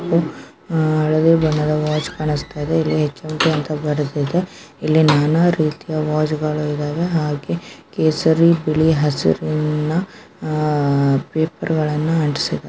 ಒಂದು ಹಳದಿ ಬಣ್ಣದ ವಾಚ್ಸ್ತಾಕಾಣಿಸ್ತಯಿದೆ ಇಲ್ಲಿ ಹೆಚ್.ಎಂ.ಟಿ ಅಂತ ಬರೆದಿದೆ ಇಲ್ಲಿ ನಾನಾ ರೀತಿಯ ವಾಚ್ಗಳು ಇದಾವೆ ಹಾಗೆ ಕೇಸರಿ ಬಿಳಿ ಹಸಿರಿನ ಪೇಪರ್ಗಳನ್ನು ಅಂಟಿಸಿದ್ದಾ --